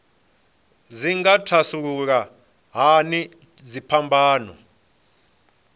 dzi nga thasulula hani dziphambano